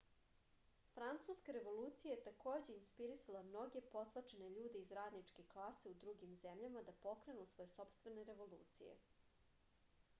francuska revolucija je takođe inspirisala mnoge potlačene ljude iz radničke klase u drugim zemljama da pokrenu svoje sopstvene revolucije